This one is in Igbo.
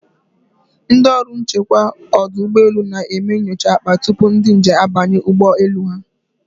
Ndị ọrụ nchekwa ọdụ ụgbọ elu na-eme nyocha akpa tupu ndị njem abanye ụgbọ elu ha.